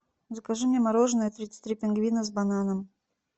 закажи мне мороженое тридцать три пингвина с бананом